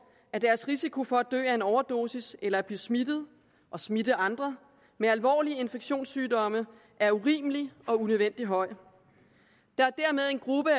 at deres risiko for at dø af en overdosis eller blive smittet og smitte andre med alvorlige infektionssygdomme er urimelig og unødvendig høj der er dermed en gruppe